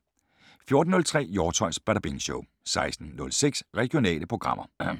14:03: Hjortshøjs Badabing Show 16:06: Regionale programmer